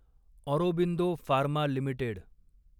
Aurobindo Pharma limited